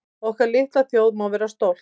Okkar litla þjóð má vera stolt